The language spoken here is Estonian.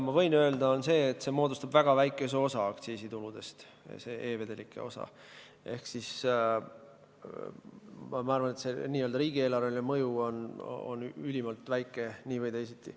Ma võin öelda seda, et see e-vedelike osa moodustab väga väikese osa aktsiisituludest, ja arvan, et see n-ö riigieelarveline mõju on ülimalt väike nii või teisiti.